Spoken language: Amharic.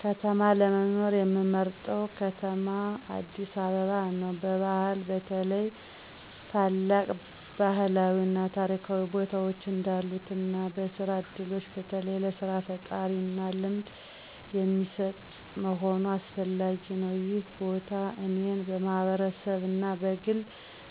ከተማ ለመኖር ምመርጠው ከተማ አዲስ አበባ ነው። በባህል በተለይ ታላቅ ባህላዊ እና ታሪካዊ ቦታዎች እንዳሉት እና በስራ ዕድሎች በተለይ ለሥራ ፈጠራና ልምድ የሚሰጥ መሆኑ አስፈላጊ ነው። ይህ ቦታ እኔን በማህበረሰብ እና በግል